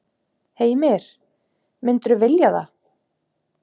Heimir: Myndirðu vilja það?